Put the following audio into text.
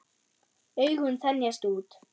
Augun þenjast út.